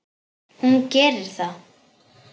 Hún gerir það.